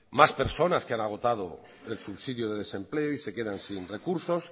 más personas que han agotado el subsidio de desempleo y se quedan sin recursos